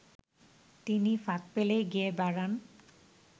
তিনি ফাঁক পেলেই গেয়ে বেড়ান